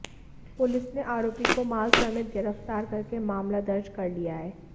police ने आरोपी को माल समेत गिरफ्तार करके मामला दर्ज कर लिया है